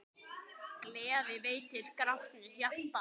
Gleði veitir grátnu hjarta.